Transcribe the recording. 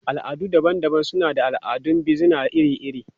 Al'adu daban-daban suna da al'adun bizina iri-iri.